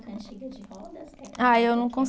Cantiga de rodas? Ah, eu não